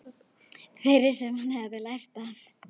Þeirri sem hann hefði lært af.